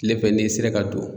Tilefɛ n'i sera ka don.